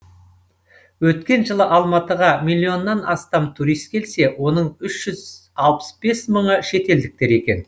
өткен жылы алматыға миллионнан астам турист келсе оның үш жүз алпыс бес мыңы шетелдіктер екен